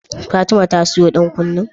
Fatima ta siya dan kunnan?